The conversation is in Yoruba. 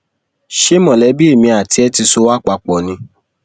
ṣé mọlẹbí èmi àti ẹ ti sọ wá papọ ni